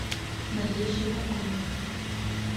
мария щербакова